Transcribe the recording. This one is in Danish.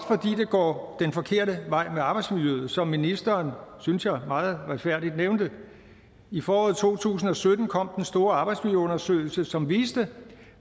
det går den forkerte vej med arbejdsmiljøet som ministeren synes jeg meget retfærdigt nævnte i foråret to tusind og sytten kom den store arbejdsmiljøundersøgelse som viste